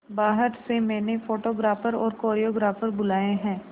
बाहर से मैंने फोटोग्राफर और कोरियोग्राफर बुलाये है